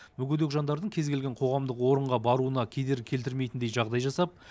мүгедек жандардың кез келген қоғамдық орынға баруына кедергі келтірмейтіндей жағдай жасап